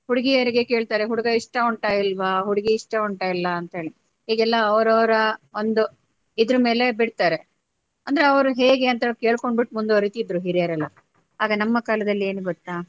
ಹುಡಿಗಿಯರಿಗೆ ಕೇಳ್ತಾರೆ ಹುಡುಗ ಇಷ್ಟ ಉಂಟ ಇಲ್ವಾ ಹುಡುಗಿ ಇಷ್ಟ ಉಂಟಾ ಇಲ್ಲ ಅಂತ ಹೇಳಿ ಈಗ ಎಲ್ಲಾ ಅವರವರ ಒಂದು ಇದ್ರ ಮೇಲೆ ಬಿಡ್ತಾರೆ ಅಂದ್ರೆ ಅವ್ರ ಹೇಗೆ ಅಂತ ಕೆಳ್ಕೊಂಡ್ಬಿಟ್ಟು ಮುಂದುವರೆತಿದ್ರೂ ಹಿರಿಯರೆಲ್ಲಾ ಆಗ ನಮ್ಮ ಕಾಲದಲ್ಲಿ ಏನು ಗೊತ್ತಾ.